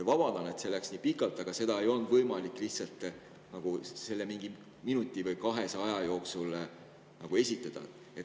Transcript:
Vabandan, et läks nii pikalt, aga seda ei olnud võimalik lihtsalt mingi minuti või kahe jooksul esitada.